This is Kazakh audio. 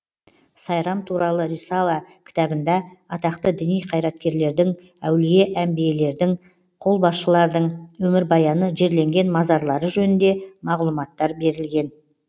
сайрам туралы рисала кітабында атақты діни қайраткерлердің әулие әнбиелердің қолбасшылардың өмірбаяны жерленген мазарлары жөнінде мағлұматтар берілген